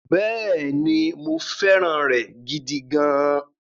Bẹ́ẹ̀ni, mo fẹ́ràn rẹ̀ gidigidi.